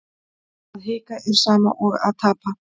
Að hika er sama og að tapa